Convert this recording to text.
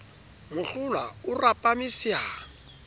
mohlohlwa o rapame se a